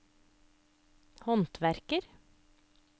håndverker